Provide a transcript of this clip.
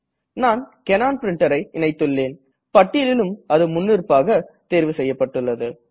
நான் கனோன் Printerஐ இணைத்துள்ளேன் பட்டியலிலும் அது முன்னிருப்பாக தேர்வு செய்யப்பட்டுள்ளது